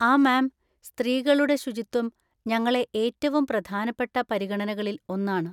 ആ മാം, സ്ത്രീകളുടെ ശുചിത്വം ഞങ്ങളെ ഏറ്റവും പ്രധാനപ്പെട്ട പരിഗണനകളിൽ ഒന്നാണ്.